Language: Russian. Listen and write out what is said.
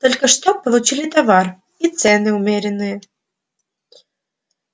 только что получили товар и цены умеренные